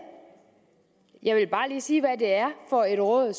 jeg vil bare lige sige hvad det er for et råd